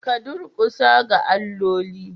Ka durkusa ga alloli.